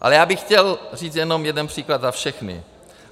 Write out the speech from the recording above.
Ale já bych chtěl říct jenom jeden příklad za všechny.